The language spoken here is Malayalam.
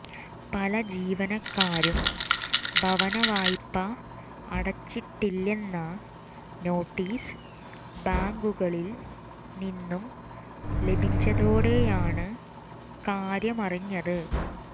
പല ജീവനക്കാരും ഭവനവായ്പ്പ അടച്ചിട്ടില്ലെന്ന നോട്ടീസ് ബാങ്കുകളിൽ നിന്നും ലഭിച്ചതോടെയാണ്് കാര്യമറിഞ്ഞത്